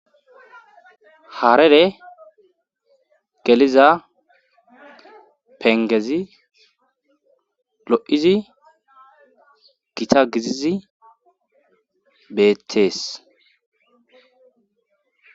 haarere geliza pengezi lo7izi gita gizizi beettees